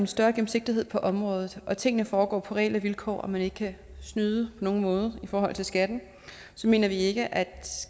større gennemsigtighed på området at tingene foregår på reelle vilkår og man ikke kan snyde på nogen måde i forhold til skatten mener vi ikke at